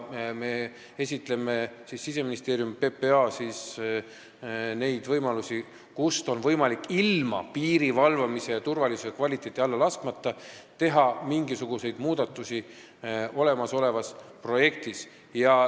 Siseministeerium ja PPA esitlevad neid võimalusi, kus on võimalik ilma piiri valvamise turvalisust ja kvaliteeti alla laskmata teha mingisuguseid muudatusi olemasolevas projektis.